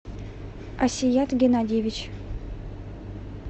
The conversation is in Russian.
асият геннадиевич